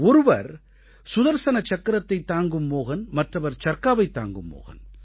ஒருவர் சுதர்ஸன சக்கரத்தைத் தாங்கும் மோஹன் மற்றவர் சர்க்காவைத் தாங்கும் மோஹன்